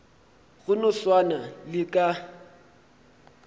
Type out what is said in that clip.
go no swana le ka